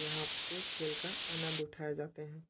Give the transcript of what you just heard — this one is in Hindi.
यहाँ पे खेल का आनंद उठाए जा--